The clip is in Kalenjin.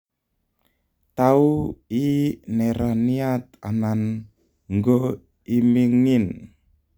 Tau I neraniat anan ngo Imingin